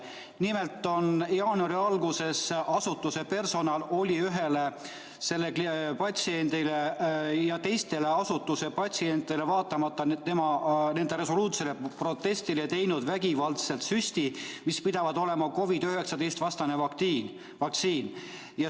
Nimelt oli jaanuari alguses asutuse personal teinud ühele selle patsiendile ja ka teistele patsientidele vaatamata nende resoluutsele protestile vägivaldselt süsti, mis pidavat olema COVID-19-vastane vaktsiin.